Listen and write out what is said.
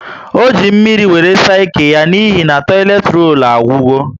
O ji mmírí wéré saa ike yá n'ihi toileti rollu agwugo